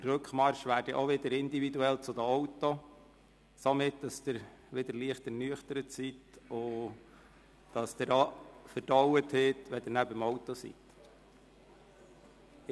Der Rückmarsch zu den Autos wäre dann auch wieder individuell, sodass Sie wieder leicht ernüchtert sind und verdaut haben, wenn Sie beim Auto ankommen werden.